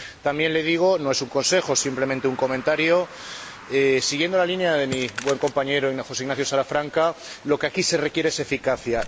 También le digo —no es un consejo, simplemente un comentario—, siguiendo la línea de mi buen compañero José Ignacio Salafranca, que lo que aquí se requiere es eficacia.